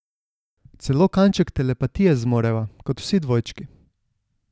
Celo kanček telepatije zmoreva, kot vsi dvojčki.